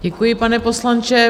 Děkuji, pane poslanče.